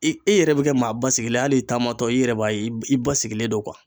I , i yɛrɛ be kɛ maa ba sigilen ye hali i taamatɔ i yɛrɛ b'a ye i basigilen don